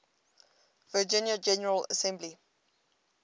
virginia general assembly